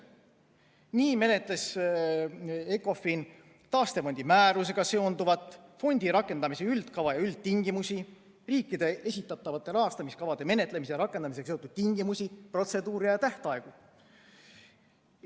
Nii menetles Ecofin taastefondi määrusega seonduvat, fondi rakendamise üldkava ja üldtingimusi, riikide esitatavate rahastamiskavade menetlemise ja rakendamisega seotud tingimusi, protseduure ja tähtaegu.